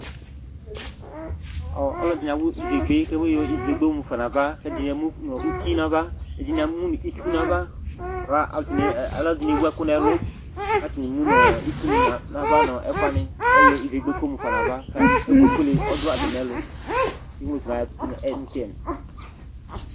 Aluɛdini awu ivegbe kayɔ ivegbe mufa nu ava ɛdini emunu itsu nava aluɛdini ewu ɛku nu ɛlu ɛdini emu nu itsu nava nu ɛkuwani edigbo ekple ɛku mu lfa nu ava ɛku fuele du atami ɛlu